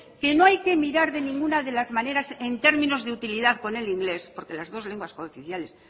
que no hay que mirar de ninguna de las maneras en términos de utilidad con el inglés porque las dos lenguas cooficiales